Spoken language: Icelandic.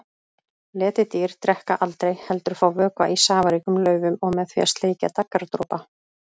Letidýr drekka aldrei heldur fá vökva í safaríkum laufum og með því að sleikja daggardropa.